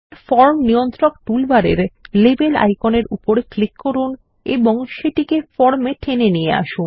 form নিয়ন্ত্রক টুলবারের label আইকনের উপর ক্লিক করুন এবং সেটিকে ফর্ম এ টেনে নিয়ে আসুন